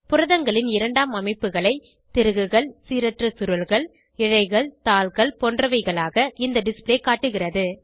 புரதங்களின் இரண்டாம் அமைப்புகளை திருகுகள் சீரற்ற சுருள்கள் இழைகள் தாள்கள் போன்றவைகளாக இந்த டிஸ்ப்ளே காட்டுகிறது